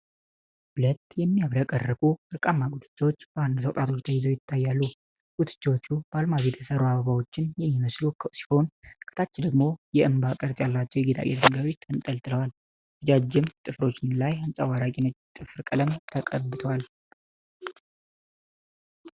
ሁለት የሚያብረቀርቁ ወርቃማ ጉትቻዎች በአንድ ሰው ጣቶች ተይዘው ይታያሉ። ጉትቻዎቹ በአልማዝ የተሰሩ አበባዎችን የሚመስሉ ሲሆን፣ ከታች ደግሞ የእንባ ቅርጽ ያላቸው የጌጣጌጥ ድንጋዮች ተንጠልጥለዋል። ረዣዥም ጥፍሮች ላይ አንጸባራቂ ነጭ ጥፍር ቀለም ተቀብቷል።